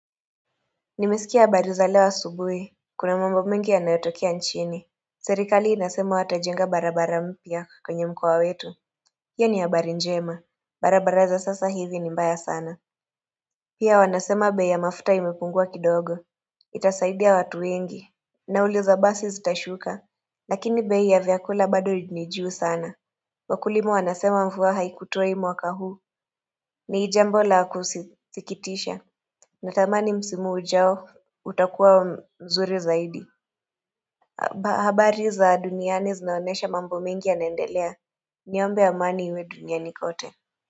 Nimesikia habari za leo asubuhi Kuna mambo mengi yanayotokea nchini Serikali inasema watajenga barabara mpya kwenye mkoa wetu hiyo ni habari njema barabara za sasa hivi ni mbaya sana Pia wanasema bei ya mafuta imepungua kidogo Itasaidia watu wengi nauli za basi zitashuka Lakini bei ya vyakula bado nijuu sana Wakulima wanasema mvua haikutoi mwaka huu ni jambo la kusikitisha natamani msimu ujao utakuwa mzuri zaidi habari za duniani zinaonesha mambo mengi yanaendelea Niombe amani iwe duniani kote.